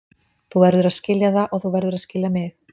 Þú verður að skilja það og þú verður að skilja mig.